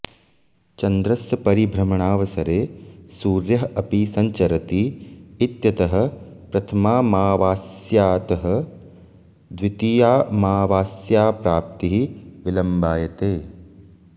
चन्द्रस्य परिभ्रमणावसरे सूर्यः अपि सञ्चरति इत्यतः प्रथमामावास्यातः द्वितीयामावास्याप्राप्तिः विलम्बायते